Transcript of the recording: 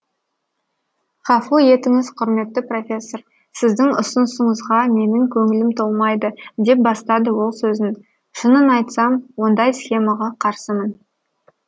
ғафу етіңіз құрметті профессор сіздің ұсынысыңызға менің көңілім толмайды деп бастады ол сөзін шынын айтсам ондай схемаға қарсымын